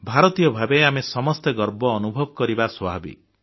ଭାରତୀୟ ଭାବେ ଆମେ ସମସ୍ତେ ଗର୍ବ ଅନୁଭବ କରିବା ସ୍ୱାଭାବିକ